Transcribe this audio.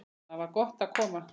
Þangað var gott að koma.